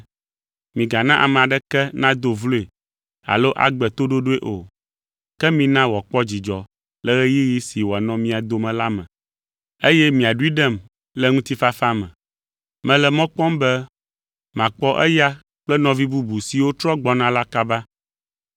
Migana ame aɖeke nado vloe alo agbe toɖoɖoe o, ke mina wòakpɔ dzidzɔ le ɣeyiɣi si wòanɔ mia dome la me, eye miaɖoe ɖem le ŋutifafa me. Mele mɔ kpɔm be makpɔ eya kple nɔvi bubu siwo trɔ gbɔna la kaba.